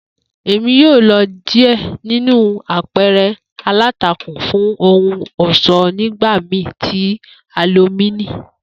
Emi yoo lo diẹ ninu apẹẹrẹ alántakùn fun ohun ọṣọ nigbamii ti Halowíìnì.